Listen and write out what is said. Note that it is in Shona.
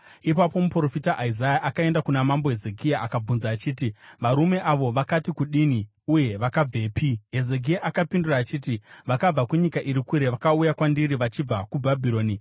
Ipapo muprofita Isaya akaenda kuna Mambo Hezekia akabvunza achiti, “Varume avo vakati kudini, uye vakabvepi?” Hezekia akapindura achiti, “Vakabva kunyika iri kure. Vakauya kwandiri vachibva kuBhabhironi.”